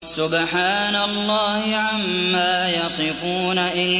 سُبْحَانَ اللَّهِ عَمَّا يَصِفُونَ